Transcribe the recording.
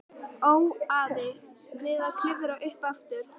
Óaði við að klifra upp aftur.